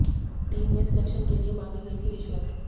team में selection के लिए मांगी गई थी रिश्वत